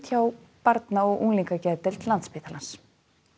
hjá Barna og unglingageðdeild Landspítalans